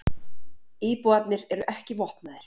Íbúarnir eru ekki vopnaðir